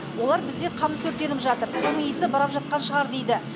олар бізде қамыс өртеніп жатыр соның иісі барап жатқан шығар дейді